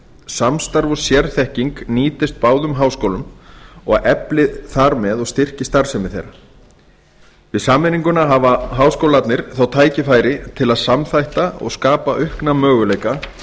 samstarf og sérfræðiþekking nýtist báðum háskólunum og efli þar með og styrki starfsemi þeirra við sameininguna hafi háskólarnir þá tækifæri til að samþætta og skapa aukna möguleika